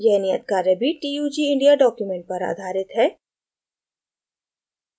यह नियत कार्य भी tug india document पर आधारित है